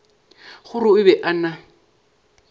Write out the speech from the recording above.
gore o be a na